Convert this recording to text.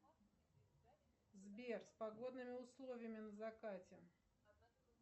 сбер с погодными условиями на закате